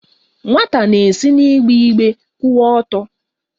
Nwata na-esi n'igbe igbe kwụwa ọtọ.